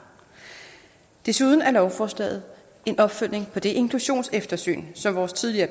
desuden er lovforslaget en opfølgning på det inklusionseftersyn som vores tidligere